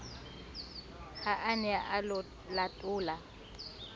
ha a ne a latola